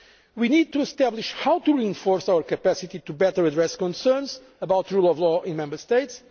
We need to establish how to enforce our capacity to better address concerns about the rule of law in Member